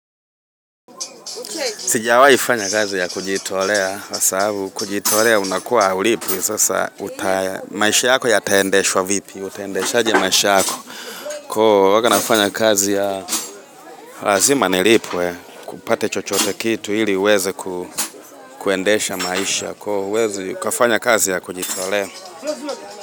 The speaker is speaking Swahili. Sijawahi fanya kazi ya kujitolea, kwa sababu kujitolea unakuwa haulipwi sasa utaendeshaje maisha yako huwa nafanya kazi ya lazima nilipwe kupata chochote kitu ili uweze kuendesha maisha, huwezi ukafanya kazi ya kujitolea.